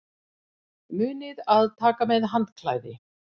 Munið að taka með handklæði!